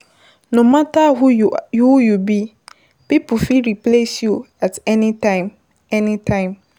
No matter who you be, pipo fit replace you at any time any time